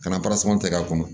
Ka na kɛ k'a kɔnɔ